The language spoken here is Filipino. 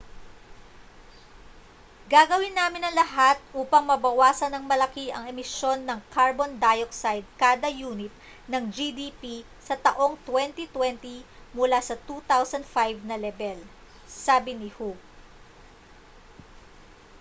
gagawin namin ang lahat upang mabawasan nang malaki ang emisyon ng carbon dioxide kada yunit ng gdp sa taong 2020 mula sa 2005 na lebel sabi ni hu